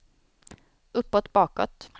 uppåt bakåt